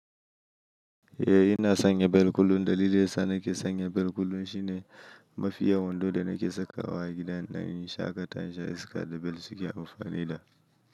Eh ina sanya bel kullum. Dalilin sa nake sanya bel kullum shine mafiya wando da nake sakawa gidan ɗan yin shaƙatawan sha iska da bel suke amfani da.